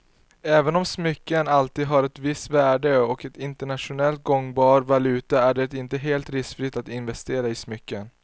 Även om smycken alltid har ett visst värde och är en internationellt gångbar valuta är det inte helt riskfritt att investera i smycken.